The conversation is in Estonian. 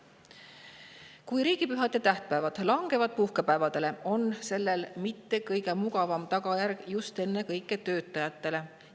Kui riigipühad ja tähtpäevad langevad puhkepäevadele, ei ole sellel kõige mugavam tagajärg just ennekõike töötajate jaoks.